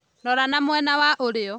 Rora na mwena wa ũrĩo